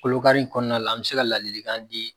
Kolokari in kɔnɔna la an bɛ se ka ladilikan di